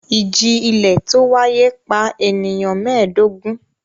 Ìjì-ilẹ̀ tó wáyé pa ènìyàn mẹ́ẹ̀dógún.